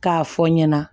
K'a fɔ n ɲɛna